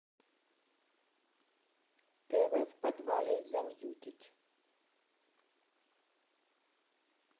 тв в подвале замьютить